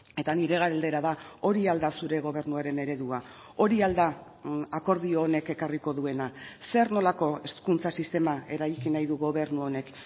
eta nire galdera da hori al da zure gobernuaren eredua hori al da akordio honek ekarriko duena zer nolako hezkuntza sistema eraiki nahi du gobernu honek